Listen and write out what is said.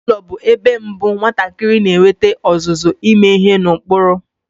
Ezinaụlọ bụ ebe mbụ nwatakịrị na-enwete ọzụzụ ime ihe n'ụkpụrụ.